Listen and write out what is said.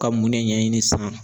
Ka mun ne ɲɛɲini san?